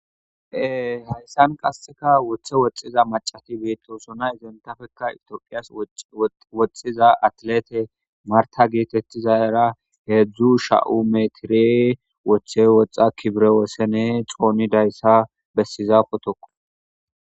Hayssan qaseka woththe woxxiza macati betosona izentafekka itoqiyas woxxiza atlete marta geetettiza era heedzdzu sha'u metiri woththe woxxa kibre wossene xooni dayssa bessiza potoko.